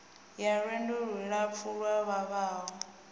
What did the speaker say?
ya lwendo lulapfu lu vhavhaho